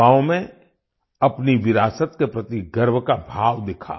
युवाओं में अपनी विरासत के प्रति गर्व का भाव दिखा